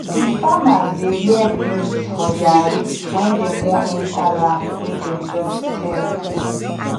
the farmers dey wear beads for their wrists when dem wan enter land wey dem just clear